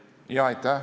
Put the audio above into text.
Aitäh!